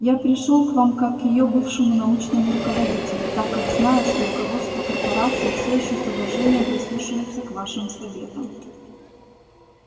я пришёл к вам как к её бывшему научному руководителю так как знаю что руководство корпорации все ещё с уважением прислушивается к вашим советам